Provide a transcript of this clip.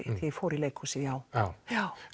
ég fór í leikhúsið já já já